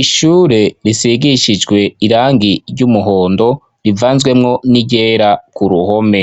Ishure risigishijwe irangi ry'umuhondo rivanzwemwo n'iryera K'uruhome.